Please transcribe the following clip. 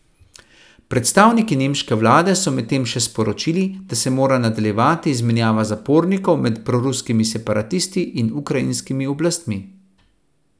Predstavniki nemške vlade so medtem še sporočili, da se mora nadaljevati izmenjava zapornikov med proruskimi separatisti in ukrajinskimi oblastmi.